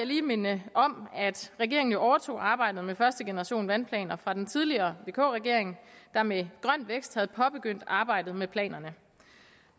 lige minde om at regeringen jo overtog arbejdet med første generation af vandplaner fra den tidligere vk regering der med grøn vækst havde påbegyndt arbejdet med planerne